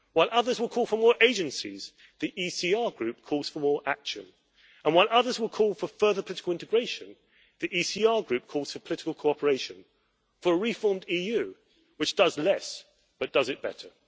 While others will call for more agencies, the ECR Group calls for more action and while others will call for further political integration, the ECR Group calls for political cooperation for a reformed EU which does less, but does it better.